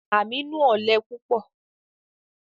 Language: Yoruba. Aminu ọlẹ pupọ